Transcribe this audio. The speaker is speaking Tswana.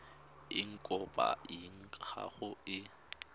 eng kopo ya gago e